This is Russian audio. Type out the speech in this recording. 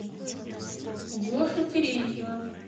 гошу терентьева